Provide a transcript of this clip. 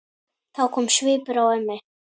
Þá kom svipur á ömmu.